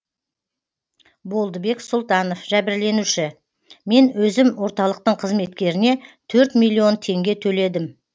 болдыбек сұлтанов жәбірленуші мен өзім орталықтың қызметкеріне төрт миллион теңге төледім